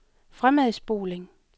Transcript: fremadspoling